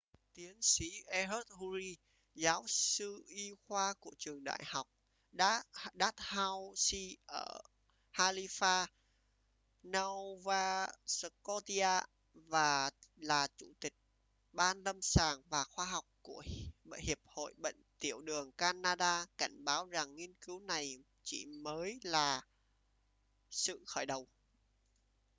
tiến sĩ ehud ur giáo sư y khoa của trường đại học dalhousie ở halifax nova scotia và là chủ tịch ban lâm sàng và khoa học của hiệp hội bệnh tiểu đường canada cảnh báo rằng nghiên cứu này chỉ mới là sự khởi đầu